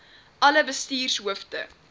alle bestuurders hoofde